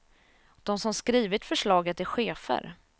De som skrivit förslaget är chefer.